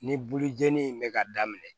Ni bulujeni in bɛ ka daminɛ